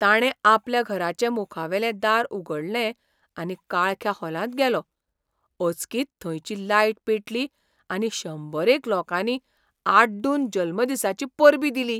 ताणें आपल्या घराचें मुखावेलें दार उगडलें आनी काळख्या हॉलांत गेलो, अचकीत थंयची लायट पेटली आनी शंबरेक लोकांनी आड्डून जल्मदिसाचीं परबीं दिली